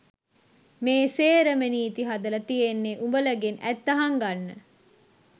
මේ සේරම නීති හදල තියෙන්නෙ උඹලගෙන් ඇත්ත හංගන්න